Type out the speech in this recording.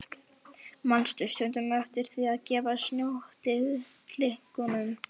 Manstu stundum eftir því að gefa snjótittlingunum?